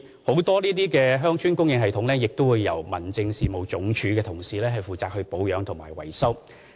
這些鄉村供水系統很多也由民政署的同事負責保養和維修。